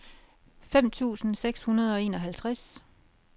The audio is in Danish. fem tusind seks hundrede og enoghalvtreds